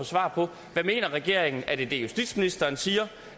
svar på hvad regeringen mener er det det justitsministeren siger